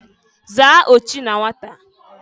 Zaa ochi na nwata!